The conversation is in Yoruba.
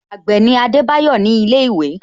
Agbe ni Adebayo ni ile iwe